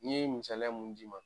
N ye misaliya mun d'i ma